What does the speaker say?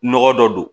Nɔgɔ dɔ don